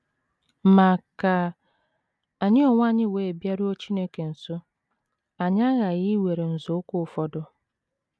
Ma ka anyị onwe anyị wee bịaruo Chineke nso, anyị aghaghị iwere nzọụkwụ ụfọdụ.